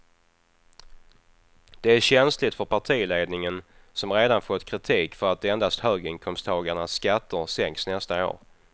Det är känsligt för partiledningen som redan fått kritik för att endast höginkomsttagarnas skatter sänks nästa år.